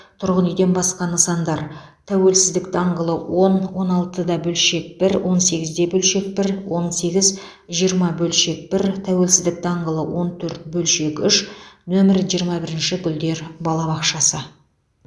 тұрғын үйден басқа нысандар тәуелсіздік даңғылы он он алты да бөлшек бір он сегіз де бөлшек бір он сегіз жиырма бөлшек бір тәуелсіздік даңғылы он төрт бөлшек үш нөмірі жиырма бір гүлдер балабақшасы